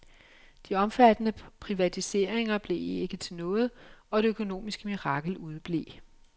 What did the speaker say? De omfattende privatiseringer blev ikke til noget, og det økonomiske mirakel udeblev.